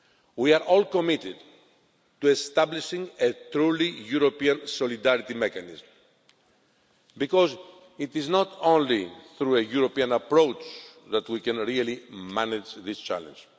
We are all committed to establishing a truly European solidarity mechanism because it is not only through a European approach that we can really manage this challenge.